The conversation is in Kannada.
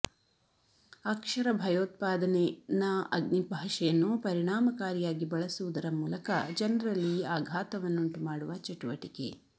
ಅಕ್ಷರ ಭಯೋತ್ಪಾದನೆ ನಾ ಅಗ್ನಿ ಭಾಷೆಯನ್ನು ಪರಿಣಾಮಕಾರಿಯಾಗಿ ಬಳಸುವುದರ ಮೂಲಕ ಜನರಲ್ಲಿ ಅಘಾತವನ್ನುಂಟು ಮಾಡುವ ಚಟುವಟಿಕೆ